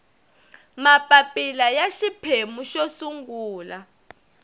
mapapila ya xiphemu xo sungula